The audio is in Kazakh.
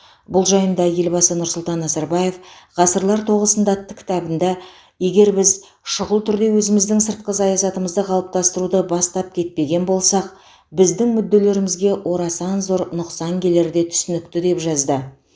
бұл жайында елбасы нұрсұлтан назарбаев ғасырлар тоғысында атты кітабында егер біз шұғыл түрде өзіміздің сыртқы саясатымызды қалыптастыруды бастап кетпеген болсақ біздің мүдделерімізге орасан зор нұқсан келері де түсінікті деп жазды